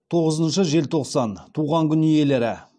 тоғызыншы желтоқсан туған күн иелері